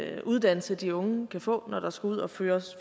af den uddannelse de unge kan få når der skal ud og fyres